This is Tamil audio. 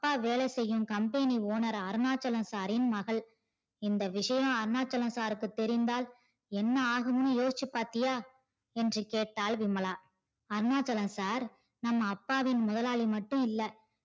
அப்பா வேலை செய்யும் company owner அருணாச்சல sir ரின் மகள் இந்த விஷயம் அருணாச்சல sir க்கு தேரிந்தால் என்ன ஆகும்னு யோசிச்சி பாத்தியா என்று கேட்டால் விமலா அருணாச்சல sir நம்ம அப்பாவின் முதலாளி மட்டும் இல்ல